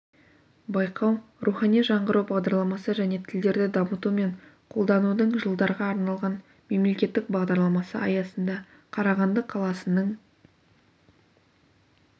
байқау рухани жаңғыру бағдараламасы және тілдерді дамыту мен қолданудың жылдарға арналған мемлекеттік бағдарламасы аясында қарағанды қаласының